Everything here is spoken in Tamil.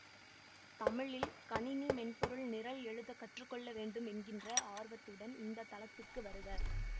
தமிழில் கணினி மென்பொருள் நிரல் எழுதக் கற்றுக்கொள்ளவேண்டும் என்கின்ற ஆர்வத்துடன் இந்த தளத்துக்கு வருக